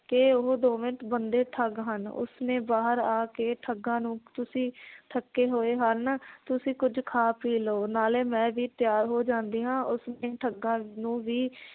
ਕਿ ਉਹ ਦੋਵੇਂ ਬੰਦੇ ਠੱਗ ਹਨ ਉਸ ਨੇ ਬਾਹਰ ਆ ਕੇ ਠੱਗਾਂ ਨੂੰ ਤੁਸੀਂ ਥੱਕੇ ਹੋਏ ਹਨ ਤੁਸੀਂ ਕੁਝ ਖਾ ਪੀ ਲਓ ਨਾਲੇ ਮੈ ਵੀ ਤਿਆਰ ਹੋ ਜਾਂਦੀ ਹਾਂ ਉਸ ਨੇ ਠੱਗਾਂ ਨੂੰ ਵੀ